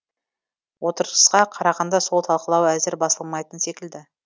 отырысқа қарағанда сол талқылау әзір басылмайтын секілді